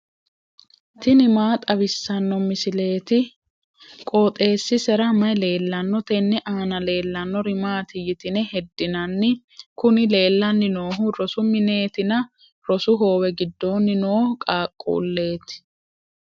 tini maa xawissanno misileeti? qooxeessisera may leellanno? tenne aana leellannori maati yitine heddinanni? kuni leellanni noohu rosu mineetinna rosu hoowe giddoonni noo qaaqquulleeti.